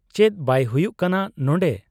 ᱪᱮᱫ ᱵᱟᱭ ᱦᱩᱭᱩᱜ ᱠᱟᱱᱟ ᱱᱚᱱᱰᱮ ?